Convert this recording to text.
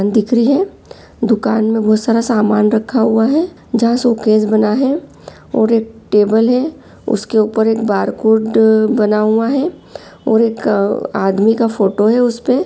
--दिख रही है दुकान में बहुत सारा सामान रखा हुआ है जहाँ शोकेस बना है और एक टेबल है उसके ऊपर एक बारकोड बना हुआ है और एक अ आदमी का फोटो है उसपे।